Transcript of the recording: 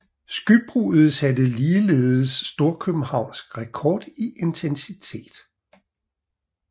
Skybruddet satte ligeledes storkøbenhavnsk rekord i intensitet